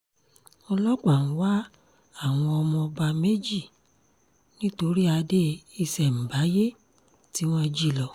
ọlọ́pàá ń wá àwọn ọmọ ọba méjì nítorí adé ìṣemábáyé tí wọ́n jí lọ